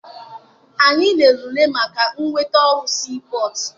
Anyị lere ule maka nnweta ọrụ sii pọtụ.